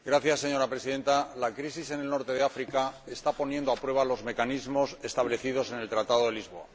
Señora Presidenta, la crisis en el norte de África está poniendo a prueba los mecanismos establecidos en el Tratado de Lisboa.